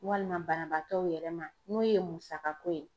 Walima banabaatɔw yɛrɛ ma, n'o ye musaka ko ye.